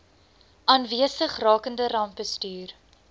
aanwesig rakende rampbestuur